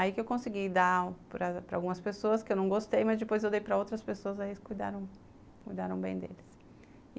Aí que eu consegui dar para para algumas pessoas, que eu não gostei, mas depois eu dei para outras pessoas, aí eles cuidaram, cuidaram bem deles.